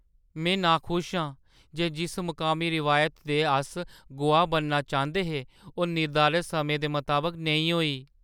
में नाखुश आं जे जिस मकामी रिवायत दे अस गोआह् बनना चांह्दे हे ओह् निर्धारत समें दे मताबक नेईं होई।